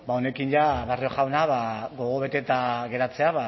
honekin ja barrio jauna gogobeteta geratzea